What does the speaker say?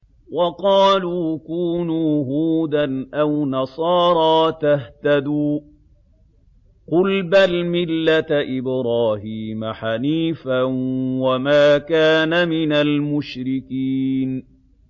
وَقَالُوا كُونُوا هُودًا أَوْ نَصَارَىٰ تَهْتَدُوا ۗ قُلْ بَلْ مِلَّةَ إِبْرَاهِيمَ حَنِيفًا ۖ وَمَا كَانَ مِنَ الْمُشْرِكِينَ